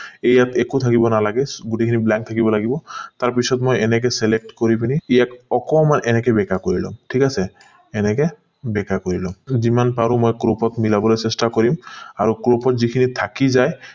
এই ইয়াত একো ভাবিব নালাগে গোটেই খিনি blank থাকিব লাগিব তাত পিছত মই এনেকে select কৰি পিনি ইয়াক অকণমান বেকা কৰি লম ঠিক আছে এনেকে বেকা কৰি লম যিমান পাৰো মই crop ত মিলাবলে চেষ্টা কৰিম আৰু crop ত যিখিনি থাকি যায়